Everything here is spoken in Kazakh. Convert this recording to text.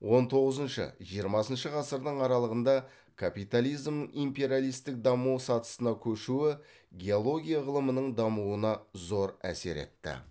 он тоғызыншы жиырмасыншы ғасырдың аралығында капитализмнің империалистік даму сатысына көшуі геология ғылымының дамуына зор әсер етті